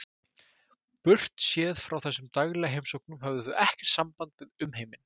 Burtséð frá þessum daglegu heimsóknum höfðu þau ekkert samband við umheiminn.